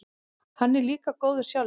Hann er líka góður sjálfur.